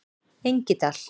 Engidal